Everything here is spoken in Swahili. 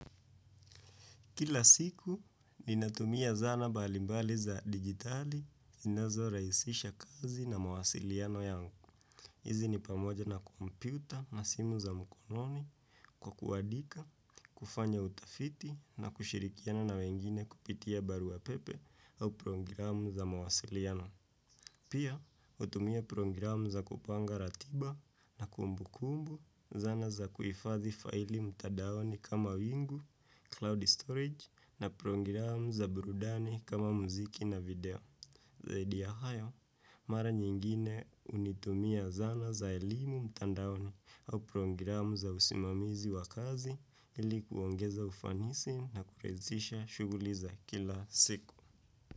Kila siku, ninatumia zana mbalimbali za digitali, zinazorahisisha kazi na mawasiliano yangu. Hizi ni pamoja na kompyuta na simu za mkononi kwa kuadika, kufanya utafiti na kushirikiana na wengine kupitia barua pepe au programu za mawasiliano. Pia, hutumia programu za kupanga ratiba na kumbukumbu, zana za kuhifadhi faili mtandaoni kama wingu, cloud storage na programu za brudani kama muziki na video. Zaidi ya hayo, mara nyingine hunitumia zana za elimu mtandaoni au programu za usimamizi wa kazi ili kuongeza ufanisi na kurahisisha shughuliza kila siku.